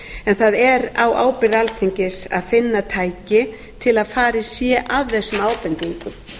en það er á ábyrgð alþingis að finna tæki til að farið sé að þessum ábendingum